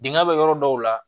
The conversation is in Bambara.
Dingɛ bɛ yɔrɔ dɔw la